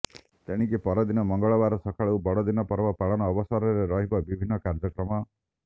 ତେଣିକି ପରଦିନ ମଙ୍ଗଳବାର ସକାଳୁ ବଡ଼ଦିନ ପର୍ବ ପାଳନ ଅବସରରେ ରହିବ ବିଭିନ୍ନ କାର୍ଯ୍ୟକ୍ରମ